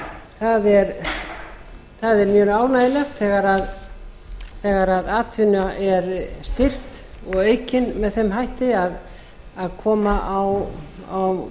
það er mjög ánægjulegt þegar atvinna er styrkt og aukin með þeim hætti að koma á